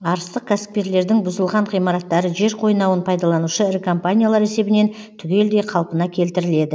арыстық кәсіпкерлердің бұзылған ғимараттары жер қойнауын пайдаланушы ірі компаниялар есебінен түгелдей қалпына келтіріледі